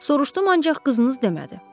Soruşdum, ancaq qızınız demədi.